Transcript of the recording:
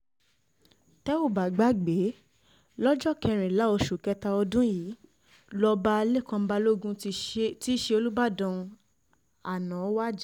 tẹ́ ò bá gbàgbé lóko kẹrìnlá oṣù kẹta ọdún yìí lọba lẹ́kan balógun tí í ṣe olùbàdàn àná wájà